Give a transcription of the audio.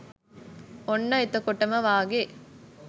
ඔන්න එතකොටම වාගේ